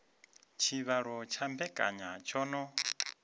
tshivhalo tsha mbekanya tsho no